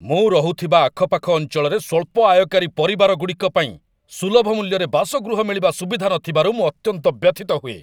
ମୁଁ ରହୁଥିବା ଆଖପାଖ ଅଞ୍ଚଳରେ ସ୍ୱଳ୍ପ ଆୟକାରୀ ପରିବାରଗୁଡ଼ିକ ପାଇଁ ସୁଲଭ ମୂଲ୍ୟରେ ବାସଗୃହ ମିଳିବା ସୁବିଧା ନଥିବାରୁ ମୁଁ ଅତ୍ୟନ୍ତ ବ୍ୟଥିତ ହୁଏ।